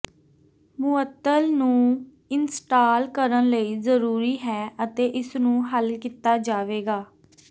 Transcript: ਮੁਅੱਤਲ ਨੂੰ ਇੰਸਟਾਲ ਕਰਨ ਲਈ ਜ਼ਰੂਰੀ ਹੈ ਅਤੇ ਇਸ ਨੂੰ ਹੱਲ ਕੀਤਾ ਜਾਵੇਗਾ